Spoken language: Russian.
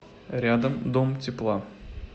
рядом дом тепла